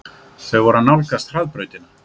Þau voru að nálgast hraðbrautina.